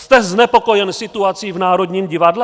Jste znepokojen situací v Národním divadle?